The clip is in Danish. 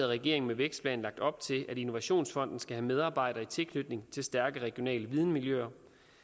regeringen med vækstplanen lagt op til at innovationsfonden skal have medarbejdere i tilknytning til stærke regionale videnmiljøer